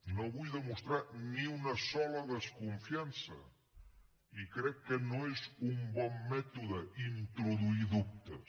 no hi vull demostrar ni una sola desconfiança i crec que no és un bon mètode introduir hi dubtes